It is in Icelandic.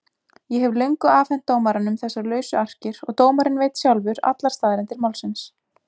Ég hef löngu afhent dómaranum þessar lausu arkir og dómarinn veit sjálfur allar staðreyndir málsins.